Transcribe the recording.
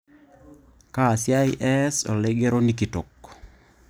Kaa siai eas oloigeroni kitok